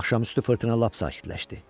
Axşamüstü fırtına lap sakitləşdi.